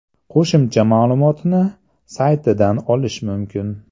Qo‘shimcha ma’lumotni saytidan olish mumkin.